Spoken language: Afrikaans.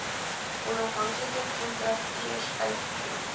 onafhanklike kontrakteurs uitgevoer